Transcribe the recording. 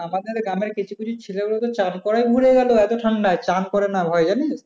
আমাদের গ্রামের কিছু কিছু ছেলেপেলে তো চান করায় ভুলে গেল এত ঠান্ডায়। চানকরে না ভয়ে জানিস?